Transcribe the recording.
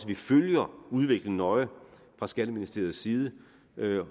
vi følger udviklingen nøje fra skatteministeriets side